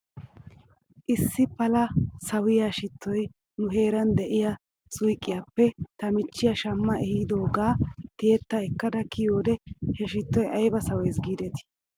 Issi pala sawiyaa shittoy nu heeran de'iyaa suyqqiyaappe ta michchiyaa shamma ehiidoogaa tiyetta ekkada kiyoode he shittoy ayba sawes giidetii